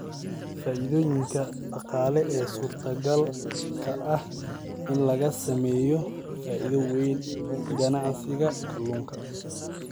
Faa'iidooyinka Dhaqaale ee suurtogalka ah in laga sameeyo faa'iido weyn ganacsiga kalluunka.